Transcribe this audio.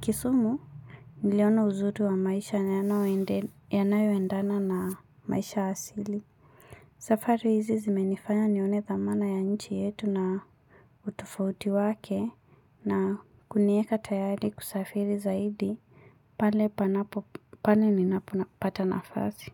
Kisumu, niliona uzuri wa maisha na yanayoendana na maisha asili. Safari hizi zimenifanya nione thamana ya nchi yetu na utofauti wake na kunieka tayari kusafiri zaidi. Pale panapo, pale ninapata nafasi.